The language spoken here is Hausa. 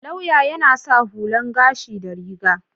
Lauya yana sa hullan gashi da riga.